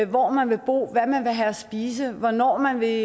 hvor man vil bo hvad man vil have at spise hvornår man vil